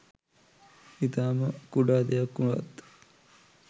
ඉතාම කුඩා දෙයක් වුවත්